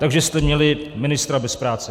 Takže jste měli ministra bez práce.